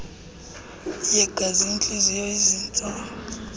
yegazi intliziyo izintso